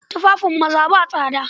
Tufafin maza ba tsada